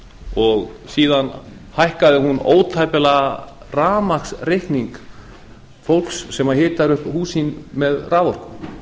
og síðan hækkaði hún ótæpilega rafmagnsreikning fólks sem hitar upp hús sín með raforku